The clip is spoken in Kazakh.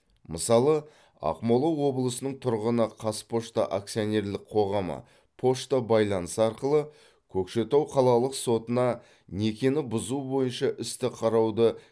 мысалы ақмола облысының тұрғыны қазпошта акционерлік қоғамы пошта байланысы арқылы көкшетау қалалық сотына некені бұзу бойынша істі қарауды